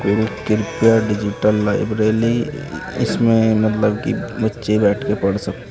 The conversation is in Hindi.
गुरु कृपा डिजिटल लाइब्रेली इसमें मतलब की बच्चे बैठकर पढ़ सकते हैं।